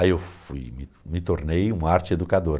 Aí eu fui, me me tornei um arte-educador.